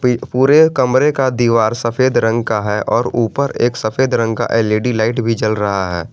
पूरे कमरे का दीवार सफेद रंग का है और ऊपर एक सफेद रंग का एल_इ_डी लाइट भी जल रहा है।